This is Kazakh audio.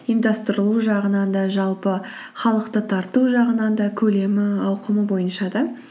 ұйымдастырылуы жағынан да жалпы халықты тарту жағынан да көлемі ауқымы бойынша да